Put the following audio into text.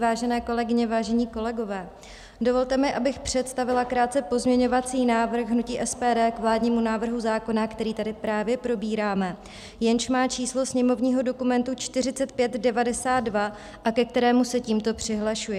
Vážené kolegyně, vážení kolegové, dovolte mi, abych představila krátce pozměňovací návrh hnutí SPD k vládnímu návrhu zákona, který tady právě probíráme, jenž má číslo sněmovního dokumentu 4592 a ke kterému se tímto přihlašuji.